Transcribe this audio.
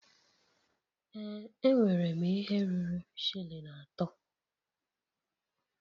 Ee enwere m ihe ruru shilling atọ.